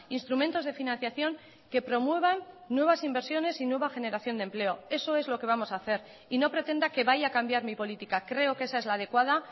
instrumentos de financiación que promuevan nuevas inversiones y nueva generación de empleo eso es lo que vamos a hacer y no pretenda que vaya a cambiar mi política creo que esa es la adecuada